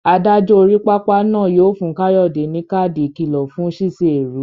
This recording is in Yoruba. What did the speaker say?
Adájọ́ orí pápá náà yóò fún Kayode ní káàdì ìkìlọ̀ fún ṣíṣe èrú.